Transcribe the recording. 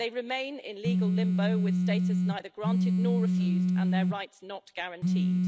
They remain in legal limbo with status neither granted nor refused and their rights not guaranteed.